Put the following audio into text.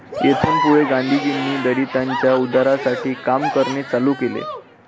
येथून पुढे गांधीजींनी दलितांच्या उद्धारासाठी काम करणे चालु केले.